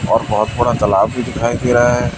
और बहोत बड़ा तलाब भी दिखाई दे रहा है।